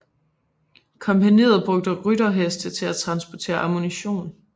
Kompagniet brugte rytterheste til at transportere ammunition